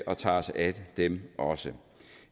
og tager os af dem også